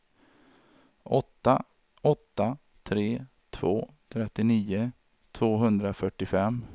åtta åtta tre två trettionio tvåhundrafyrtiofem